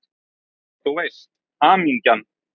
Þú veist: Hamingjan!